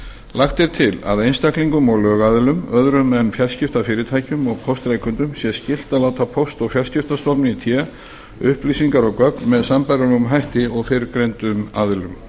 lagt er til að einstaklingum og lögaðilum öðrum en fjarskiptafyrirtækjum og póstrekendum sé skylt að láta póst og fjarskiptastofnun í té upplýsingar og gögn með sambærilegum hætti og fyrrgreindum aðilum